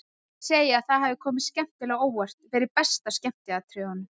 Þeir segja að það hafi komið skemmtilega á óvart, verið best af skemmtiatriðunum.